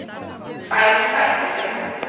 Fær ekki bætur fyrir handtöku